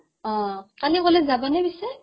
অ, কালি কলেজ যাবানে পিছে ?